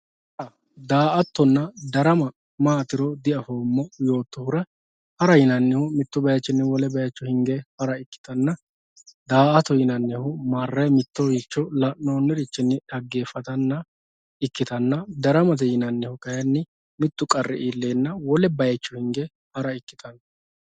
hara daa"attona darama maatiro diafoommo yoottohura hara yinannihu mittu bayiichinniwole bayiicho hinge hara ikkitanna da"atate yinannihu la'noonniricho marre daa"ata ikkitanna daramate yinannihu kayeenni mittu qarri iilleenna wole bayiicho hinge hara ikkitanno